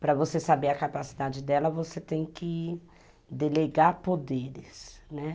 Para você saber a capacidade dela, você tem que delegar poderes, né.